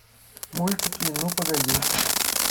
мультики ну погоди